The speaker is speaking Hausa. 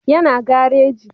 Ya na gareji